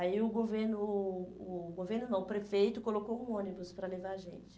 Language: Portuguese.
Aí o governo, o o o governo não, o prefeito colocou um ônibus para levar a gente.